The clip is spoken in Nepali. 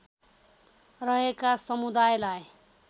रहेका समुदायलाई